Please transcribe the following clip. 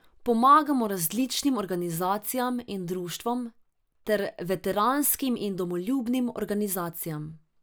Pomagamo različnim organizacijam in društvom ter veteranskim in domoljubnim organizacijam.